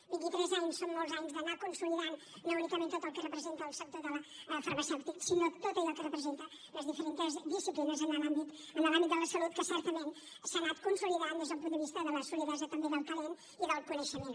vint i tres anys són molts anys d’anar consolidant no únicament tot el que representa el sector farmacèutic sinó tot allò que representen les diferents disciplines en l’àmbit de la salut que certament s’ha anat consolidant des del punt de vista de la solidesa també del talent i del coneixement